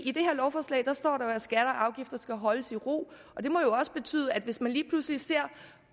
i det her lovforslag står der at skatter og afgifter skal holdes i ro og det må jo også betyde at hvis man lige pludselig ser